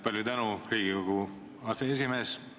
Palju tänu, Riigikogu aseesimees!